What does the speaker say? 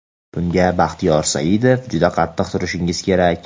Bunga (Baxtiyor Saidov) juda qattiq turishingiz kerak.